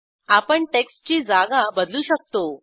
आपण टेक्स्टची जागा बदलू शकतो